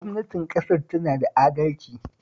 Gwamnatin ƙasar tana da adalci